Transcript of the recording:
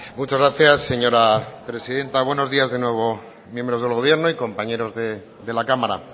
muchas gracias señora presidenta buenos días de nuevo miembros del gobierno y compañeros de la cámara